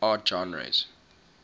art genres